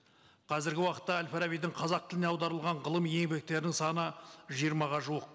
қазіргі уақытта әл фарабидің қазақ тіліне аударылған ғылым еңбектерінің саны жиырмаға жуық